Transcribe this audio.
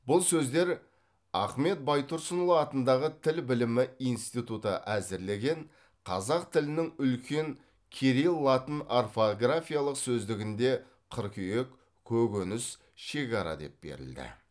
бұл сөздер ахмет байтұрсынұлы атындағы тіл білімі институты әзірлеген қазақ тілінің үлкен кирил латын орфографиялық сөздігінде қыркүйек көкөніс шекара деп берілді